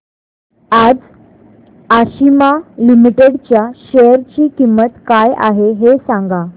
आज आशिमा लिमिटेड च्या शेअर ची किंमत काय आहे हे सांगा